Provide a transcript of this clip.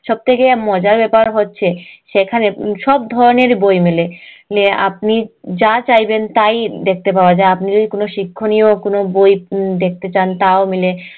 সব থেকে মজার ব্যাপার হচ্ছে সেখানে উম সব ধরণের বই মেলে আপনি যা চাইবেন তাই দেখতে পাওয়া যায় আপনি যদি কোনো শিক্ষণীয় কোনো বই দেখতে চান তাও মেলে